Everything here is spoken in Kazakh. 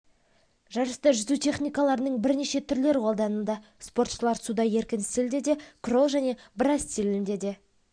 жарыста жүзу техникаларының бірнеше түрлері қолданылды спортшылар суда еркін стилде де крол және брас стилінде де